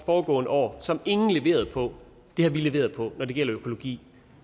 foregående år som ingen leverede på har vi leveret på når det gælder økologi